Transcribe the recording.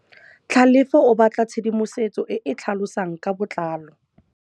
Tlhalefô o batla tshedimosetsô e e tlhalosang ka botlalô.